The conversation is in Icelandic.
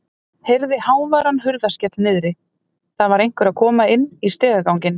Heyrði háværan hurðarskell niðri, það var einhver að koma inn í stigaganginn.